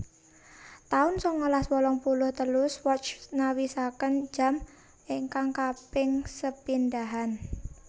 taun sangalas wolung puluh telu Swatch nawisaken jam ingkang kaping sepindhahan